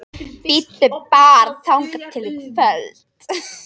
Bíddu bara þangað til í kvöld